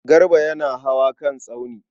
Garba yana hawa kan tsauni.